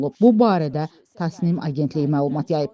Bu barədə Tasnim agentliyi məlumat yayıb.